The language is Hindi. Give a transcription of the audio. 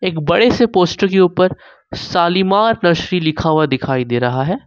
एक बड़े से पोस्टर के ऊपर शालीमार नर्सरी लिखा हुआ दिखाई दे रहा है।